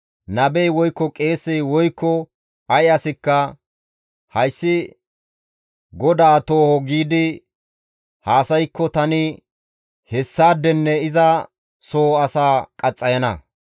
Nabey, woykko qeesey, woykko ay asikka, ‹Hayssi GODAA tooho› giidi haasaykko tani hessaadenne iza soho asaa qaxxayana.